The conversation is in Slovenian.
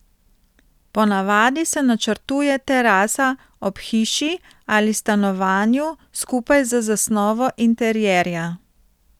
Ponavadi se načrtuje terasa ob hiši ali stanovanju skupaj z zasnovo interierja.